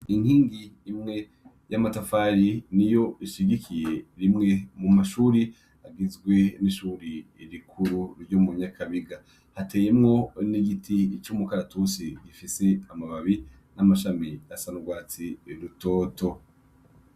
Inkingi imwe y' amatafari niyo ishigikiye rimwe mumashure agizwe n' ishure rikuru ryo munyakabiga hateyemwo n' igiti c' umukaratusi gifise amababi n' amashami asa n' ugwatsi rutoto.